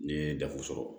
N'i ye dafe sɔrɔ